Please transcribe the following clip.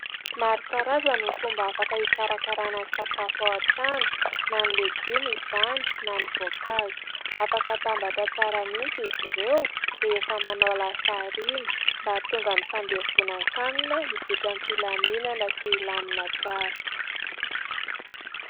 Maro karazana ny fomba afaka hikarakarana ny sakafo ao an-trano, na ny legioma izany na ny voankazo; afaka atambatra tsara mihitsy izy ireo rehefa manao lasary iny, mba hahatonga ny fandevonan-kanina hizotra am-pilaminana sy hilamina tsara.